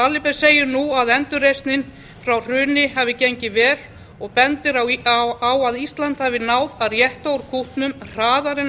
aliber segir nú að endurreisnin frá hruni hafi gengið vel og bendir á að ísland hafi náð að rétta úr kútnum hraðar en